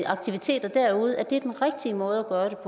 aktiviteter derude er den rigtige måde